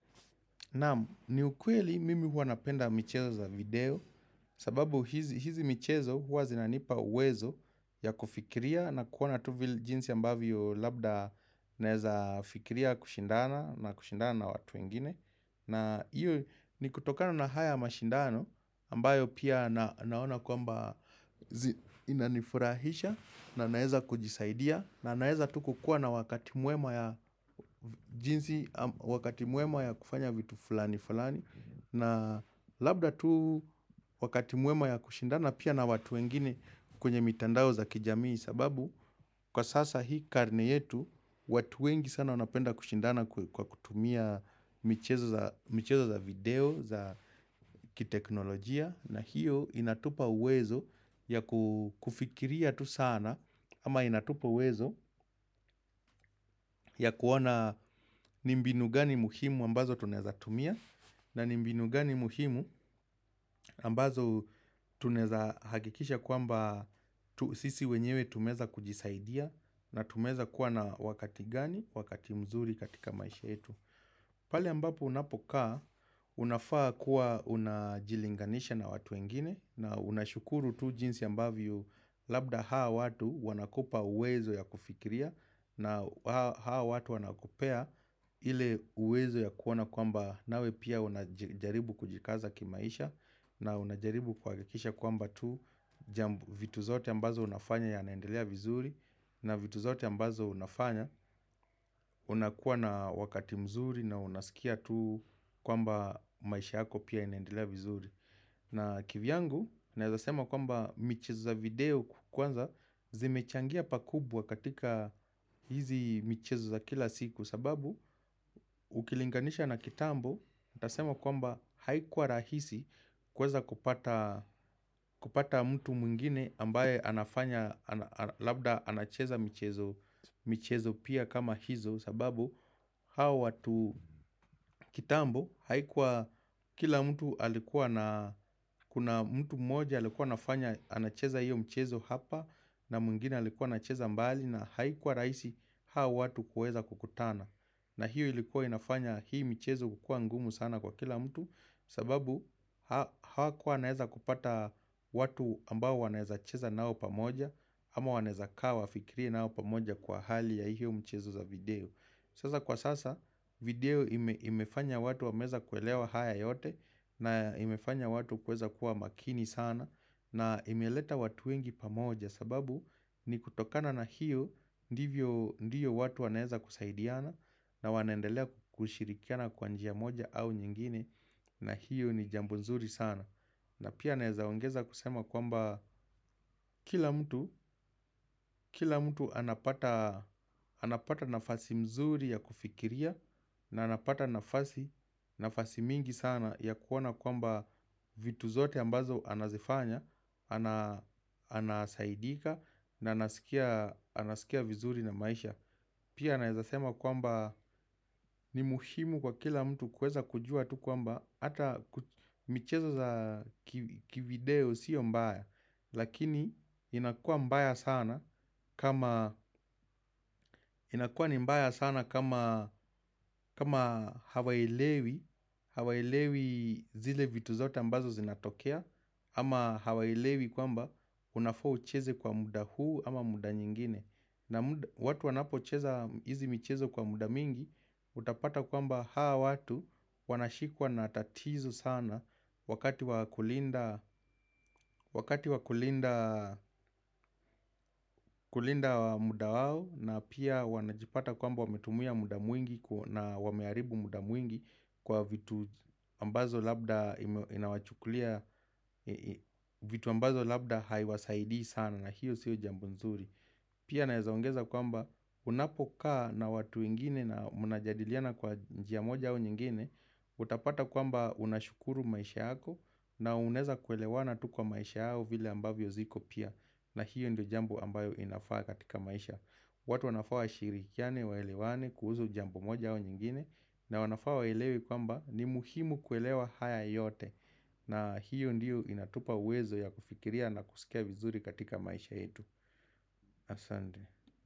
Naam ni ukweli mimi huwa napenda michezo za video sababu hizi michezo huwa zinanipa uwezo ya kufikiria na kuona tu vi jinsi ambavyo labda naeza fikiria kushindana na kushindana na watu ingine. Na iyo ni kutokana na haya mashindano ambayo pia naona kwamba inanifurahisha na naeza kujisaidia na naeza tu kukua na wakati mwema ya kufanya vitu fulani fulani na labda tu wakati mwema ya kushindana pia na watu wengine kwenye mitandao za kijamii sababu kwa sasa hii karne yetu watu wengi sana wanapenda kushindana kwa kutumia michezo za video za kiteknolojia na hiyo inatupa uwezo ya kufikiria tu sana ama inatupa uwezo ya kuoana ni mbinu gani muhimu ambazo tunaezatumia na ni mbinu gani muhimu ambazo tuneza hakikisha kwamba sisi wenyewe tumeza kujisaidia na tumeza kuwa na wakati gani, wakati mzuri katika maisha etu pale ambapo unapokaa, unafaa kuwa unajilinganisha na watu wengine na unashukuru tu jinsi ambavyo labda hao watu wanakupa uwezo ya kufikiria na hao watu wanakupea ile uwezo ya kuona kwamba nawe pia unajaribu kujikaza kimaisha na unajaribu kuhakikisha kwamba tu vitu zote ambazo unafanya yanaendelea vizuri na vitu zote ambazo unafanya unakuwa na wakati mzuri na unasikia tu kwamba maisha yako pia inendelea vizuri na kivyangu, naezasema kwamba michezo za video kkwanza zimechangia pakubwa katika hizi michezo za kila siku sababu, ukilinganisha na kitambo, tasema kwamba haikuwa rahisi kweza kupata mtu mwingine ambaye anafanya Labda anacheza michezo pia kama hizo sababu hao watu kitambo haikuwa kila mtu alikuwa na kuna mtu mmoja alikuwa nafanya anacheza hiyo mchezo hapa na mwingine alikuwa anacheza mbali na haikuwa raisi hao watu kuweza kukutana na hiyo ilikuwa inafanya hii mchezo kukua ngumu sana kwa kila mtu sababu hao kuwa naeza kupata watu ambao wanaeza cheza nao pamoja ama wanaeza kaa wafikiria nao pamoja kwa hali ya hiyo mchezo za video Sasa kwa sasa video imefanya watu wameza kuelewa haya yote na imefanya watu kueza kuwa makini sana na imeleta watu wengi pamoja sababu ni kutokana na hiyo ndivyo watu waneza kusaidiana na wanaendelea kushirikiana kwa njia moja au nyingine na hiyo ni jambo mzuri sana. Na pia naezaongeza kusema kwamba kila mtu anapata nafasi mzuri ya kufikiria na anapata nafasi mingi sana ya kuona kwamba vitu zote ambazo anazifanya, anasaidika na anaskia vizuri na maisha. Pia naezasema kwamba ni muhimu kwa kila mtu kweza kujua tu kwamba Ata michezo za kivideo sio mbaya Lakini inakua mbaya sana kama hawaelewi Hawaelewi zile vitu zote ambazo zinatokea ama hawaelewi kwamba unafaa ucheze kwa muda huu ama muda nyingine na watu wanapocheza hizi mchezo kwa muda mingi Utapata kwamba hao watu wanashikwa na tatizo sana wakati wakulinda muda wao na pia wanajipata kwamba wametumia muda mwingi na wamearibu muda mwingi kwa vitu ambazo labda inawachukulia vitu ambazo labda haiwasaidii sana na hiyo sio jambo nzuri Pia naezaongeza kwamba unapokaa na watu wengine na munajadiliana kwa njia moja au nyingine Utapata kwamba unashukuru maisha yako na uneza kuelewana tu kwa maisha au vile ambavyo ziko pia na hiyo ndio jambo ambayo inafaa katika maisha watu wanafaa washirikiane waelewane kuhuzu jambo moja au nyingine na wanafaa waelewe kwamba ni muhimu kuelewa haya yote na hiyo ndio inatupa uwezo ya kufikiria na kusikia vizuri katika maisha yetu asande.